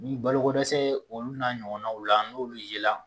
Ni balo ko dɛsɛ olu na ɲɔgɔnnaw la n'olu ye la